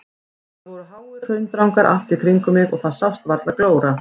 Það voru háir hraundrangar allt í kringum mig og það sást varla glóra.